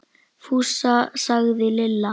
Fúsa! sagði Lilla.